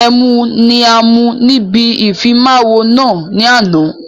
Ẹmu ni a mu níbi ìfimawo náà ni àná